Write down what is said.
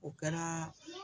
O kɛra